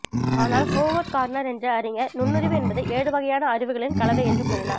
ஆனால் Howard Gardner என்ற அறிஞர் நுண்ணறிவு என்பது ஏழுவகையான அறிவுகளின் கலவை என்று கூறினார்